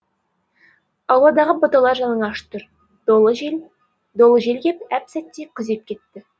ауладағы бұталар жалаңаш тұр долы жел кеп әп сәтте күзеп кетті